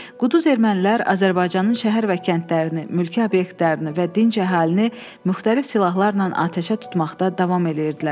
Quduz ermənilər Azərbaycanın şəhər və kəndlərini, mülki obyektlərini və dinc əhalini müxtəlif silahlarla atəşə tutmaqda davam eləyirdilər.